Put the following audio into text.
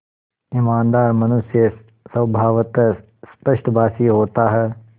ईमानदार मनुष्य स्वभावतः स्पष्टभाषी होता है